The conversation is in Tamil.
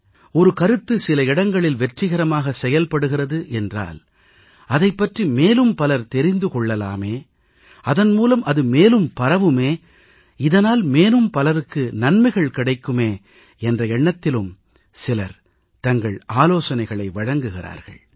சிலரோ ஒரு கருத்து சில இடங்களில் வெற்றிகரமாக செயல்படுகிறது என்றால் அதைப் பற்றி மேலும் பலர் தெரிந்து கொள்ளலாமே அதன் மூலம் அது மேலும் பரவுமே இதனால் மேலும் பலருக்கு நலன்கள் கிடைக்குமே என்ற எண்ணத்திலும் தங்கள் ஆலோசனைகளை வழங்குகிறார்கள்